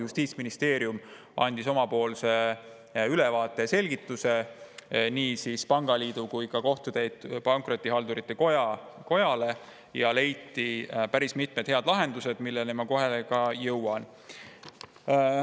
Justiitsministeerium andis oma ülevaate ja selgituse nii pangaliidule kui ka Kohtutäiturite ja Pankrotihaldurite Kojale ning leiti päris mitmed head lahendused, milleni ma kohe ka jõuan.